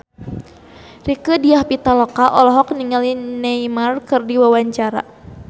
Rieke Diah Pitaloka olohok ningali Neymar keur diwawancara